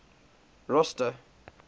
rosta